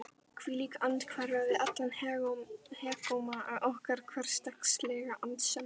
hvílík andhverfa við allan hégóma okkar hversdagslegu annsemdar!